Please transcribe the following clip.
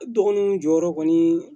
Dɔgɔnunw jɔyɔrɔ kɔni